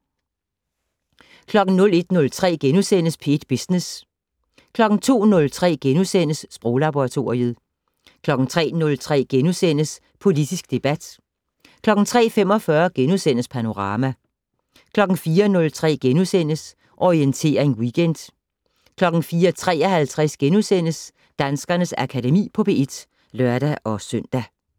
01:03: P1 Business * 02:03: Sproglaboratoriet * 03:03: Politisk debat * 03:45: Panorama * 04:03: Orientering Weekend * 04:53: Danskernes Akademi på P1 *(lør-søn)